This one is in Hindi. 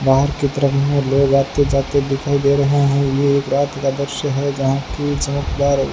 बाहर की तरफ में लोग आते जाते दिखाई दे रहे हैं ये एक रात का दृश्य है जहां की चमकदा--